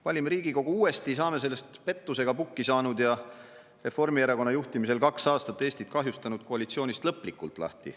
Valime Riigikogu uuesti ja saame sellest pettusega pukki saanud ja Reformierakonna juhtimisel kaks aastat Eestit kahjustanud koalitsioonist lõplikult lahti.